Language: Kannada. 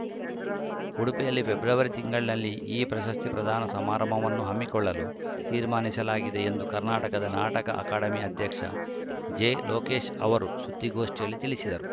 ಉಡುಪಿಯಲ್ಲಿ ಫೆಬ್ರವರಿ ತಿಂಗಳಿನಲ್ಲಿ ಈ ಪ್ರಶಸ್ತಿ ಪ್ರದಾನ ಸಮಾರಂಭವನ್ನು ಹಮ್ಮಿಕೊಳ್ಳಲು ತೀರ್ಮಾನಿಸಲಾಗಿದೆ ಎಂದು ಕರ್ನಾಟಕದ ನಾಟಕ ಅಕಾಡೆಮಿ ಅಧ್ಯಕ್ಷ ಜೆಲೋಕೇಶ್‌ ಅವರು ಸುದ್ದಿಗೋಷ್ಠಿಯಲ್ಲಿ ತಿಳಿಸಿದರು